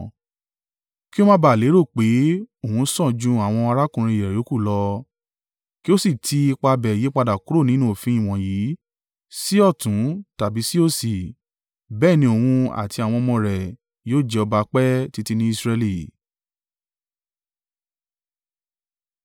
Kí ó má ba à lérò pé òun sàn ju àwọn arákùnrin rẹ̀ yòókù lọ, kí ó sì ti ipa bẹ́ẹ̀ yípadà kúrò nínú òfin wọ̀nyí sí ọ̀tún tàbí sí òsì. Bẹ́ẹ̀ ni òun àti àwọn ọmọ rẹ̀ yóò jẹ ọba pẹ́ títí ní Israẹli.